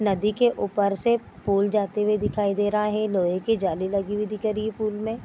नदी के ऊपर से पूल जाते हुआ दिखाई दे रहा है। लोहे की जाली लगी हुई दिखाई दे रही है पूल में।